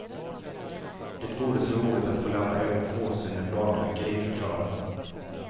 Det vore så roligt att få lämna över påsen med barnböcker i, förklarar hon.